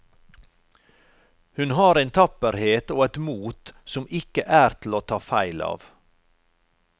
Hun har en tapperhet og et mot som ikke er til å ta feil av.